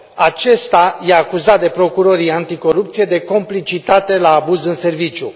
Acesta este acuzat de procurorii anticorupție de complicitate la abuz în serviciu.